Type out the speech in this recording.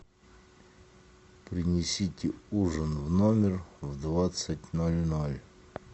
принесите ужин в номер в двадцать ноль ноль